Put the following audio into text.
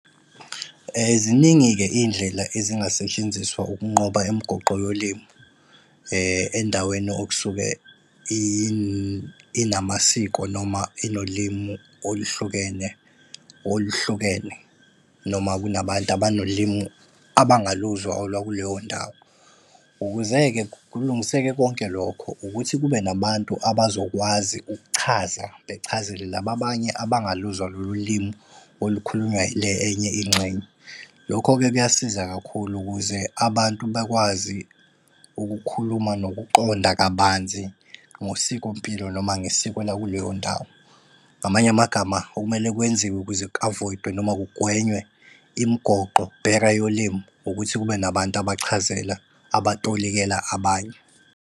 Ziningi-ke iy'ndlela ezingasetshenziswa ukunqoba imigoqo yolimi endaweni okusuke inamasiko noma inolimu oluhlukene oluhlukene, noma kunabantu abanolimu abangaluzwa olwakuleyo ndawo. Ukuze-ke kulungiseke konke lokho, ukuthi kube nabantu abazokwazi ukuchaza bechazele laba abanye abangaluzwa lolu limi olukhulunywa ile enye ingxenye. Lokho-ke kuyasiza kakhulu ukuze abantu bakwazi ukukhuluma nokuqonda kabanzi ngosikompilo noma ngesiko lakuleyo ndawo. Ngamanye amagama okumele kwenziwe ukuze ku-avoid-we noma kugwenywe imigoqo, barrier yolimu ukuthi kube nabantu abachazela, abatolikela abanye.